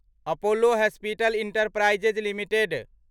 Apollo hospital enterprise limited